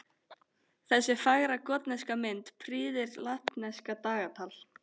Þessi fagra gotneska mynd prýðir latneskt dagatal.